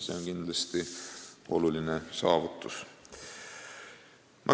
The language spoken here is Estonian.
See on kindlasti oluline saavutus.